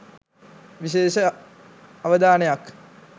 විශේෂ අවධානයක්